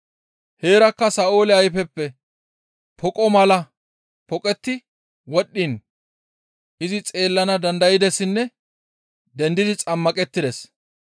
Heerakka Sa7oole ayfeppe poqo malay poqetti wodhdhiin izi xeellana dandaydessinne dendidi xammaqettides.